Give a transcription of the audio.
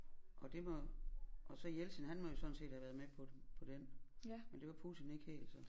Og det må og så Jeltsin han må jo sådan set have været med på den på den men det var Putin ikke helt så